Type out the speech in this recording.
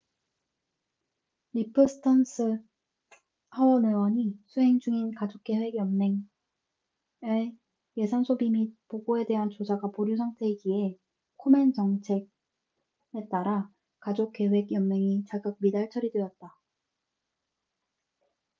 리프 스턴스cliff stearns 하원 의원이 수행 중인 가족계획 연맹planned parenthood의 예산 소비 및 보고에 대한 조사가 보류 상태이기에 코멘 정책komen's policy에 따라 가족계획 연맹이 자격 미달 처리되었다